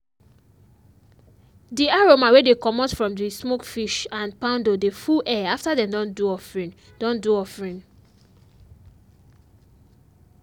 di aroma wey dey comot from di smoked fish and poundo dey full air after dem don do offering. don do offering.